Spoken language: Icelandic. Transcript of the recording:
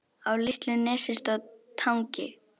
Á litlu nesi stóð Tangi.